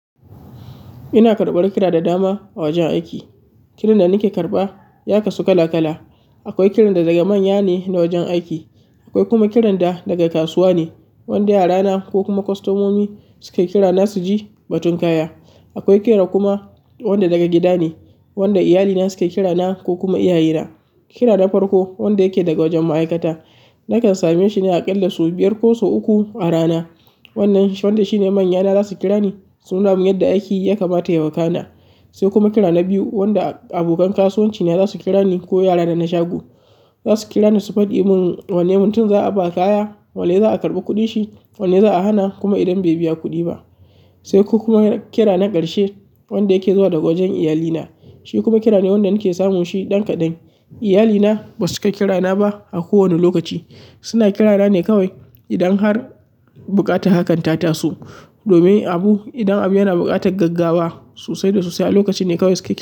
Ina karɓar kira da dama a wajen aiki. Kiran da nake karɓa ya kasu kala kala. Akwai kiran da daga manya ne na wajen aiki, akwai kuma kiran da daga kasuwa ne, wanda yarana ko kuma kostomomi suke kira na su ji batun kaya. Akwai kira kuma wanda daga gida ne, wanda iyalina suke kira na ko kuma iyaye na. Kira na farko wanda yake daga wajen ma'aikata nakan same shi ne a ƙalla sau biyar ko sau uku a rana. Wannan wanda shine manyana zasu kira ni sununa min yadda aiki ya kamata ya wakana. Sai kuma kira na biyu wanda abokan kasuwanci ne zasu kira ni ko yara na na shago. Zasu kira ni su faɗi mun wane muntin za a ba kaya, wanne za a karɓa kuɗi shi, wanne za a hana kuma idan bai biya kuɗi ba. Sai ko kuma kira na ƙarshe wanda yake zuwa daga wajen iyalina. Shi kuma kira ne wanda nake samun shi ɗan kaɗan. Iyalina ba su ke kira na ba a kowane lokaci. Suna kira na ne kawai idan har buƙata hakanta taso domin abu, idan abu yana buƙatar gaggawa sosai da sosai, a lokaci ne kawai suke kira.